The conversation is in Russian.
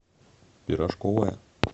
пирожковая